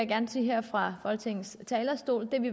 gerne sige her fra folketingets talerstol at vi